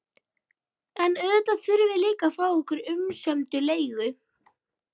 En auðvitað þurftum við að fá okkar umsömdu leigu.